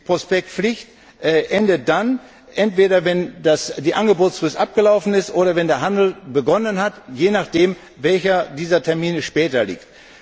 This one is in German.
Die Prospektpflicht endet entweder dann, wenn die Angebotsfrist abgelaufen ist, oder wenn der Handel begonnen hat, je nachdem, welcher dieser Termine später liegt.